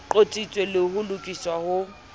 qotsitswe le ho lokiswa ho